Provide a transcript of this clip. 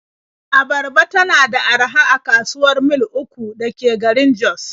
Abarba tana da araha a kasuwar Mil 3 da ke garin Jos.